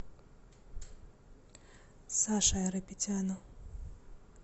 саше айрапетяну